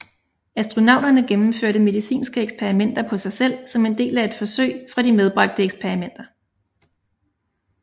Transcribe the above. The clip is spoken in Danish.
Astronauterne gennemførte medicinske eksperimenter på sig selv som en del af forsøg fra de medbragte eksperimenter